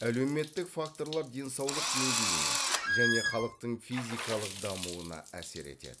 әлеуметтік факторлар денсаулық деңгейіне және халықтың физикалық дамуына әсер етеді